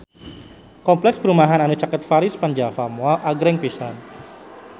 Kompleks perumahan anu caket Paris van Java Mall agreng pisan